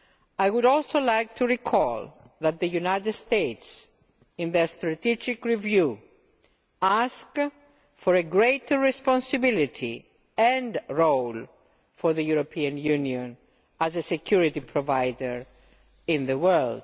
I would also like to recall that the United States in their strategic review asked for greater responsibility and a greater role for the European Union as a security provider in the world.